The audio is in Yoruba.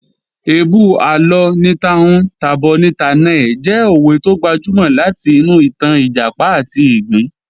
"Èébú àlọ ni ta'hun tà'bọ̀ ni tà'na ẹ̀" jẹ́ òwe tó gbajúmọ̀ láti inú ìtàn Ìjàpá àti ìgbín